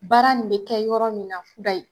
Baara nin be kɛ yɔrɔ min na kudayi.